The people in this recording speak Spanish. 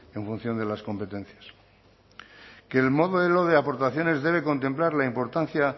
en función de las competencias que el modelo de aportaciones debe contemplar la importancia